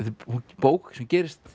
bók sem gerist